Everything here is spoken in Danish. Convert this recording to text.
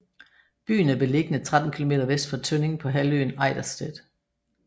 Byen er beliggende 13 kilometer vest for Tønning på halvøen Ejdersted